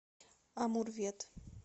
амурвет